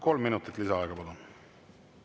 Kolm minutit lisaaega, palun!